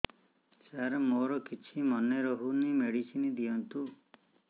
ସାର ମୋର କିଛି ମନେ ରହୁନି ମେଡିସିନ ଦିଅନ୍ତୁ